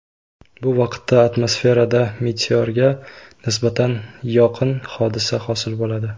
Bu vaqtda atmosferada meteorga nisbatan yoqin hodisa hosil bo‘ladi.